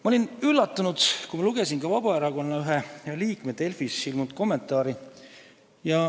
Ma olin üllatunud, kui ma lugesin ka ühe Vabaerakonna liikme Delfis ilmunud kommentaari.